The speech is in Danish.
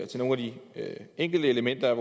til nogle af de enkelte elementer